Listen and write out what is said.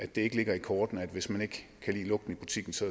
det ikke ligger i kortene at hvis man ikke kan lide lugten i butikken skal